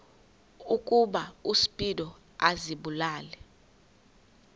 ukuba uspido azibulale